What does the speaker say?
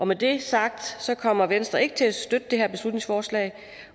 med det sagt kommer venstre ikke til at støtte det her beslutningsforslag